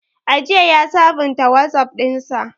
Ajiya ya sabunta Wazaf ɗinsa.